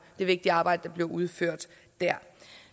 det vigtige arbejde der bliver udført der